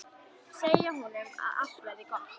Segja honum að allt verði gott.